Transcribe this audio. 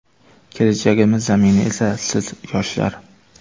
Kelajagimiz zamini esa – siz, yoshlar.